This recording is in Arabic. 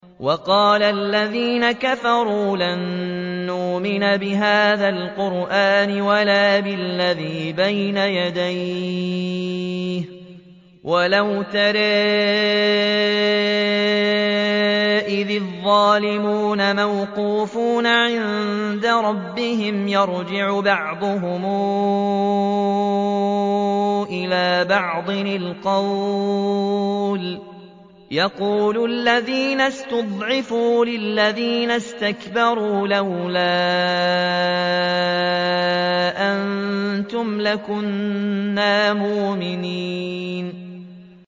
وَقَالَ الَّذِينَ كَفَرُوا لَن نُّؤْمِنَ بِهَٰذَا الْقُرْآنِ وَلَا بِالَّذِي بَيْنَ يَدَيْهِ ۗ وَلَوْ تَرَىٰ إِذِ الظَّالِمُونَ مَوْقُوفُونَ عِندَ رَبِّهِمْ يَرْجِعُ بَعْضُهُمْ إِلَىٰ بَعْضٍ الْقَوْلَ يَقُولُ الَّذِينَ اسْتُضْعِفُوا لِلَّذِينَ اسْتَكْبَرُوا لَوْلَا أَنتُمْ لَكُنَّا مُؤْمِنِينَ